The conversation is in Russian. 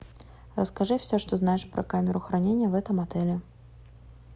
расскажи все что знаешь про камеру хранения в этом отеле